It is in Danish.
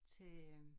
Til øh